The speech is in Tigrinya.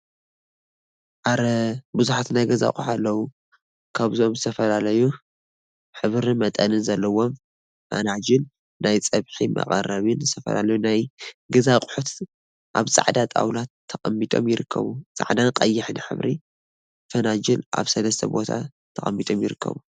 አረ! ቡዙሓት ናይ ገዛ አቁሑት አለው፡፡ ካብዚኦም ዝተፈላለየ ሕብርን መጠንን ዘለዎም ፈናጅል፣ ናይ ፀብሒ መቀረቢን ዝተፈላለዩ ናይ ገዛ አቁሑት አብ ፃዕዳ ጣውላ ተቀሚጦም ይርከቡ፡፡ ፃዕዳን ቀይሕን ሕብራዊ ፈናጅል አብ ሰለስተ ቦታ ተቀሚጦም ይርከቡ፡፡